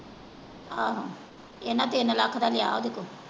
ਆਹੋ ਇਹਨਾਂ ਤਿੰਨ ਲੱਖ ਦਾ ਲਿਆ ਓਹਦੇ ਕੋਲੋਂ।